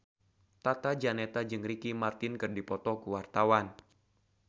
Tata Janeta jeung Ricky Martin keur dipoto ku wartawan